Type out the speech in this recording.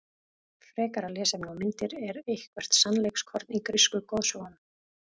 Frekara lesefni og myndir Er eitthvert sannleikskorn í grísku goðsögunum?